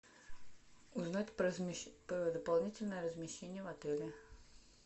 узнать про дополнительное размещение в отеле